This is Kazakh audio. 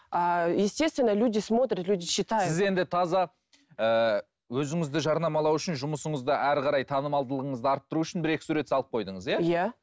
ааа естественно люди смотрят люди читают сіз енді таза ыыы өзіңізді жарнамалау үшін жұмысыңызды әрі қарай танымалдылығыңызды арттыру үшін бір екі сурет салып қойдыңыз иә иә